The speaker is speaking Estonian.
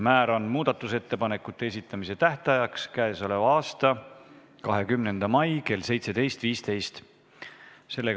Määran muudatusettepanekute esitamise tähtajaks k.a 20. mai kell 17.15.